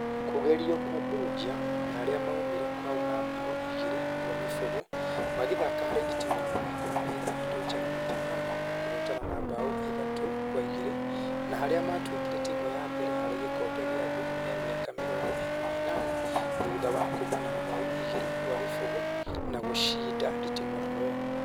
Kũgerio kwa Belgium na arĩa maumire kwao na mbaũ igĩri gwa gĩbũgũ magĩthaka harĩ nditimũrano ikũmi na ithathatũ njega na Japan na kũhotana na mbaũ ithatũ kwa igĩrĩ, na harĩa matuĩkire timũ ya mbere harĩ gĩkombe gĩa thĩ he mĩaka mĩrongo ĩna na ĩnana thutha wa kuma na mbaũ igĩrĩ kwa gĩbũgũ na gũcida nditimũrano ĩyo